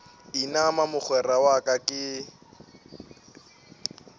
inama mogwera wa ka ke